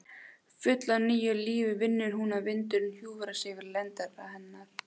Full af nýju lífi finnur hún að vindurinn hjúfrar sig við lendar hennar.